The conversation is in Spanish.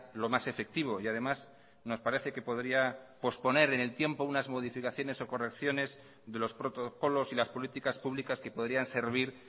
lo más efectivo y además nos parece que podría posponer en el tiempo unas modificaciones o correcciones de los protocolos y las políticas públicas que podrían servir